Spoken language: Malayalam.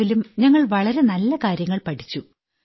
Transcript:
പടവിലും ഞങ്ങൾ വളരെ നല്ല കാര്യങ്ങൾ പഠിച്ചു